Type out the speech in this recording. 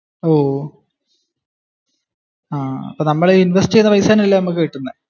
നമ്മൾ ഈ ഇൻവെസ്റ്റ് ചെയുന്ന പൈസ തന്നെ അല്ലെ നമ്മുക് കിട്ടുന്നെ?